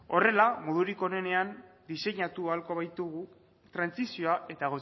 horrela modurik onenean diseinatu ahalko baitugu trantsizioa eta